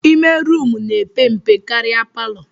Ime rumụ na-epe mpe karịa palọ